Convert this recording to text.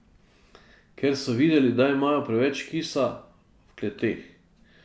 Ker so videli, da imajo preveč kisa v kleteh.